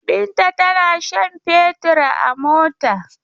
Binta tana shan fetur a mota.